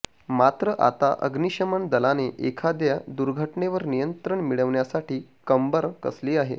मात्र आता अग्निशमन दलाने एखाद्या दुर्घटनेवर नियंत्रण मिळवण्यासाठी कंबर कसली आहे